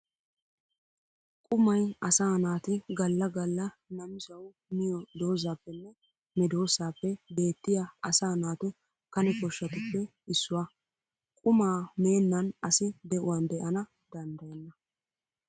Qummay asaa naati gala gala namisawu miyo doozappenne medosappe beettiya asaa naatu kane koshatuppe issuwa. Qumma meennan asi de'uwan de'ana danddayenna.